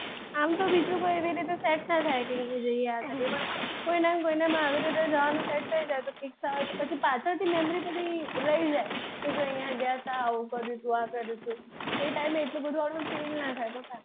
આમ તો બીજું કોઈ એવી રીતે set ના થાય યાદ રે કોઈના અને કોઈના માં આવી રીતે જવાનું set થય જાય ઇચ્છા હોય તો પછી પાછળથી memory બધી રહી જાય જો અહિયાં ગ્યાં હતા આવું કર્યું હતું આ કર્યું હતું એ time એ આટલું બધુ આપણે fill ના થાય.